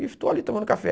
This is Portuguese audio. E estou ali tomando café.